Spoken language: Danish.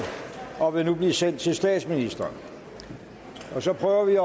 og vil nu blive sendt til statsministeren så prøver vi